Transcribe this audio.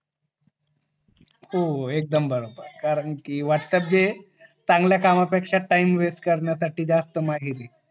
हो एकदम बरोबर कारण कि वाट जे चांगल्या काम पेक्षा टाइम वेस्ट करण्या साठी जास्त